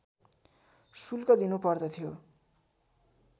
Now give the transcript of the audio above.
शुल्क दिनु पर्दथ्यो